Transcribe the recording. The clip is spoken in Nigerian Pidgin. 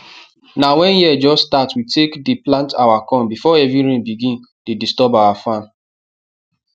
na when year just start we take plant our corn before heavy rain begin dey disturb our farm